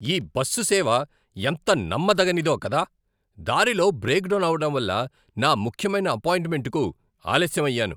ఈ బస్సు సేవ ఎంత నమ్మదగనిదో కదా! దారిలో బ్రేకుడౌన్ అవడంవల్ల నా ముఖ్యమైన అపాయింట్మెంట్కు ఆలస్యం అయ్యాను!